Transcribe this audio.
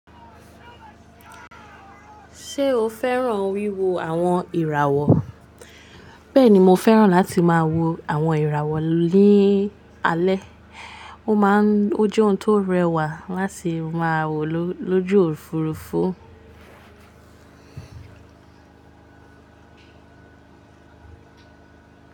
Ṣé o fẹ́ràn wíwo àwọn ìràwọ̀? Bẹ́ẹ̀ni, mo fẹ́ràn láti máa wo àwọn ìràwọ̀ ní alẹ́. Ó máa ń ó jẹun tó rẹwà láti máa wò lójú Òfurufú.